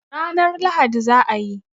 Ranan Lahadi za a yi